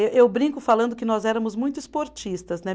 Ê eu brinco falando que nós éramos muito esportistas, né?